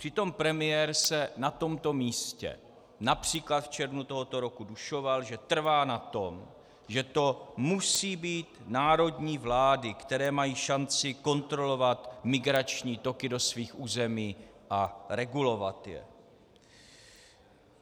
Přitom premiér se na tomto místě například v červnu tohoto roku dušoval, že trvá na tom, že to musí být národní vlády, které mají šanci kontrolovat migrační toky do svých území a regulovat je.